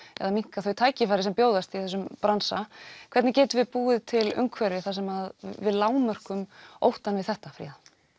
minnka þau tækifæri sem bjóðast í þessum bransa hvernig getum við búið til umhverfi þar sem við lágmörkum óttann við þetta Fríða